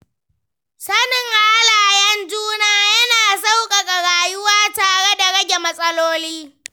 Sanin halayen juna yana sauƙaƙa rayuwa tare da rage matsaloli.